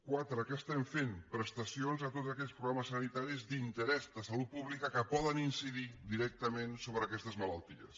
quatre què estem fent prestacions a tots aquells programes sanitaris d’interès de salut pública que poden incidir directament sobre aquestes malalties